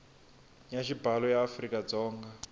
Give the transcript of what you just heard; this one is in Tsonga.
ya xibalo ya afrika dzonga